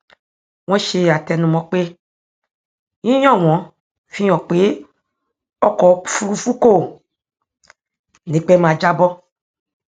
wọn ṣe àtẹnumọ pé yíyan wọn fi hàn pé ọkọ òfúrúfú kò ní pẹ máa jábọ